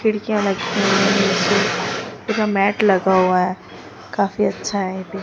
खिड़कियां लटकी हुई है पूरा मैट लगा हुआ हैं काफी अच्छा है।